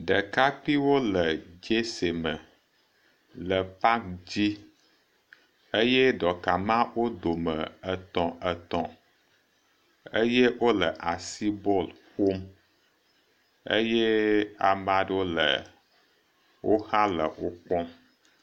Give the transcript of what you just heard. Ɖekakpiwo le dzese me le paki dzi eye ɖɔka ma wo dome etɔ̃tɔ̃etɔ̃ eye wo le asi bɔl ƒom eye ame aɖewo le wo xa le wo kpɔm.